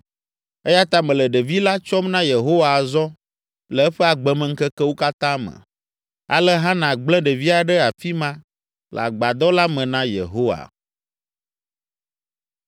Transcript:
Eya ta mele ɖevi la tsɔm na Yehowa azɔ le eƒe agbemeŋkekewo katã me.” Ale Hana gblẽ ɖevia ɖe afi ma le Agbadɔ la me na Yehowa.